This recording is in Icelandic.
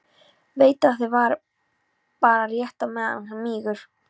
Veit að það varir bara rétt á meðan hann mígur.